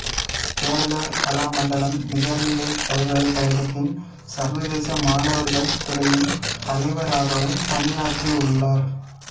கேரள கலாமண்டலம் நிகர்நிலைப் பல்கலைக்கழகத்தின் சர்வதேச மாணவர்கள் துறையின் தலைவராகவும் பணியாற்றியுள்ளார்